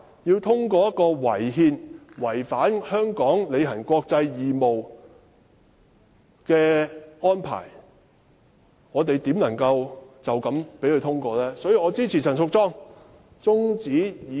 面對這項違憲且違反香港履行國際義務的法案，試問我們怎能隨便通過《條例草案》？